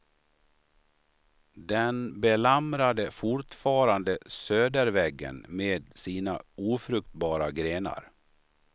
Den belamrade fortfarande söderväggen med sina ofruktbara grenar.